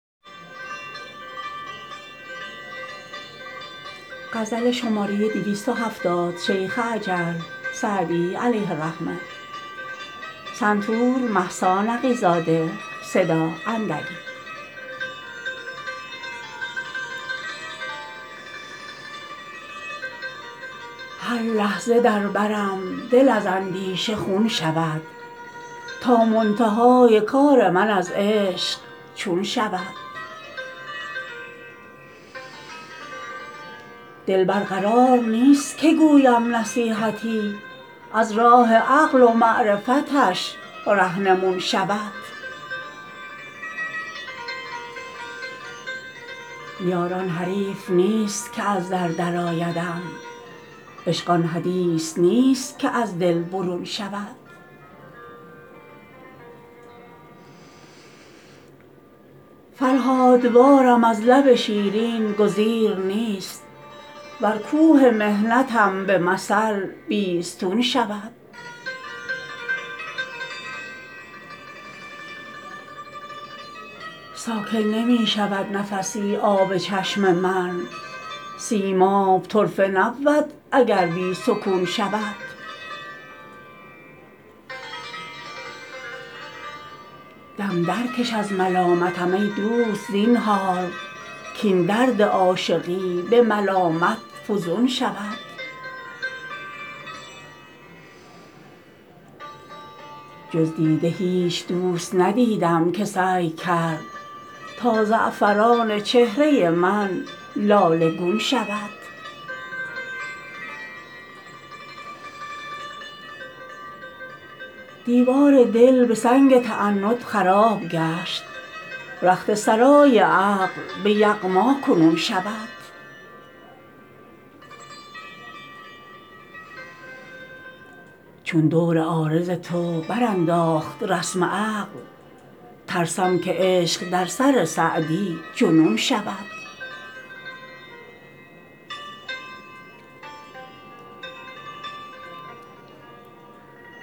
هر لحظه در برم دل از اندیشه خون شود تا منتهای کار من از عشق چون شود دل بر قرار نیست که گویم نصیحتی از راه عقل و معرفتش رهنمون شود یار آن حریف نیست که از در درآیدم عشق آن حدیث نیست که از دل برون شود فرهادوارم از لب شیرین گزیر نیست ور کوه محنتم به مثل بیستون شود ساکن نمی شود نفسی آب چشم من سیماب طرفه نبود اگر بی سکون شود دم درکش از ملامتم ای دوست زینهار کاین درد عاشقی به ملامت فزون شود جز دیده هیچ دوست ندیدم که سعی کرد تا زعفران چهره من لاله گون شود دیوار دل به سنگ تعنت خراب گشت رخت سرای عقل به یغما کنون شود چون دور عارض تو برانداخت رسم عقل ترسم که عشق در سر سعدی جنون شود